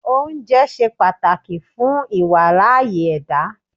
Oúnjẹ ṣe pàtàkì fún ìWàláàyè ẹ̀dá